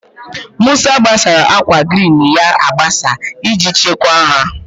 Musa gbasara akwa grin ya agbasa iji chekwa ha.